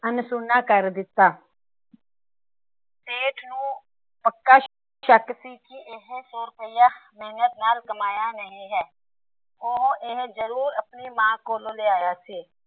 ਅਨਸੁਣਾ ਕਰ ਦਿੱਤਾ। ਸੇਠ ਨੂੰ ਪੱਕਾ ਸ਼ੱਕ ਸੀ। ਕਿ ਇਹ ਸੋ ਰੁਪਈਆ ਮੇਹਨਤ ਨਾਲ ਕਮਾਇਆ ਨਹੀਂ ਹੈ। ਉਹ ਇਹ ਜਰੂਰ ਆਪਣੀ ਮਾਂ ਕੋਲੋਂ ਲਿਆਇਆ ਸੀ।